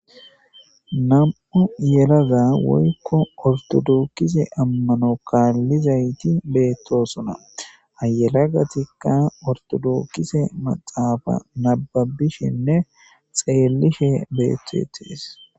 Nam'u yelagga woykko ortodookise ammano kaallizayti beettosonna ha yalagatikka ortodookkise maxaafa nababishenne xeelishe betetees